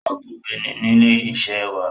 Akọ̀wé ni ní ilé iṣẹ́ wa.